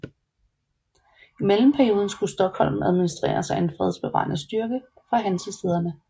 I mellemperioden skulle Stockholm administreres af en fredsbevarende styrke fra hansestæderne